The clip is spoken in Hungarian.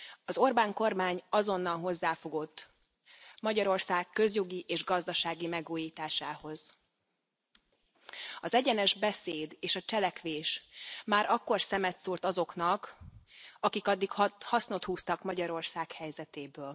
Az Orbán kormány azonnal hozzáfogott Magyarország közjogi és gazdasági megújításához. Az egyenes beszéd és a cselekvés már akkor szemet szúrt azoknak, akik addig hasznot húztak Magyarország helyzetéből.